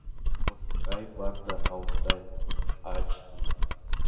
пошукай банда аутсайдеров айч ди